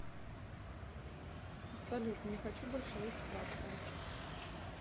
салют не хочу больше есть сладкое